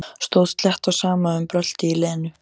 Stóð slétt á sama um bröltið í Lenu.